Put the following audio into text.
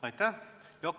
Aitäh!